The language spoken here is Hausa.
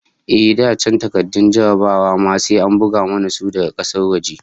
Ehh, da can takardun jarrabawa ma sai an bugo mana su daga kasar waje